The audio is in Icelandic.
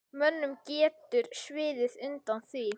Mönnum getur sviðið undan því.